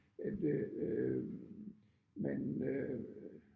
At øh øh man øh